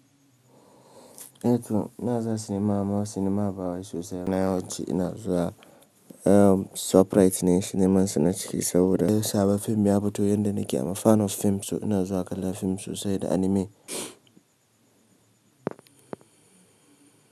Eh to ina zuwa sinima, amma sinima ba wa sosai ba. Ina, yawanci ina zuwa eh 'Shoprite' ne siniman su na ciki, saboda in sabon fim ya fito yanda nake amafanan fim so, ina zuwa kallon fim sosai da anime.